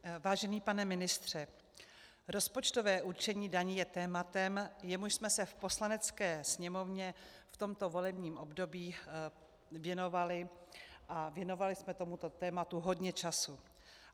Vážený pane ministře, rozpočtové určení daní je tématem, jemuž jsme se v Poslanecké sněmovně v tomto volebním období věnovali, a věnovali jsme tomuto tématu hodně času.